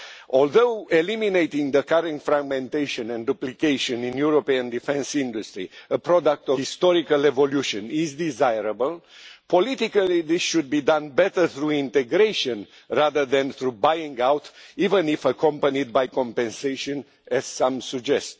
Although eliminating the current fragmentation and duplication in the European defence industry a product of historical evolution is desirable, politically this should be done better through integration rather than through buying out, even if accompanied by compensation, as some suggest.